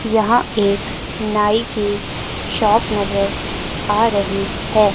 यहां एक नाई की शॉप नजर आ रही है।